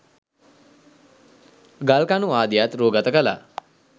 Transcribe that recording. ගල් කණු ආදියත් රුගත කළා.